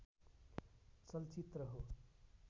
चलचित्र हो